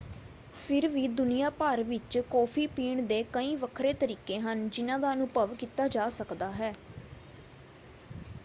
ਫਿਰ ਵੀ ਦੁਨੀਆ ਭਰ ਵਿੱਚ ਕੌਫ਼ੀ ਪੀਣ ਦੇ ਕਈ ਵੱਖਰੇ ਤਰੀਕੇ ਹਨ ਜਿਨ੍ਹਾਂ ਦਾ ਅਨੁਭਵ ਕੀਤਾ ਜਾ ਸਕਦਾ ਹੈ।